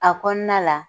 A kɔnɔna la